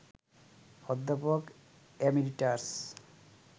অধ্যাপক এমেরিটাস